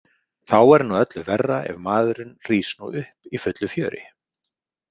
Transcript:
Þá er nú öllu verra ef maðurinn rís nú upp í fullu fjöri.